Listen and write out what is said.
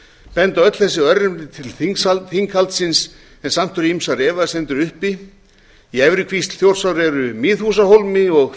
benda öll þessi örnefni til þinghaldsins en samt eru ýmsar efasemdir uppi í efri kvísl þjórsár eru miðhúsahólmi og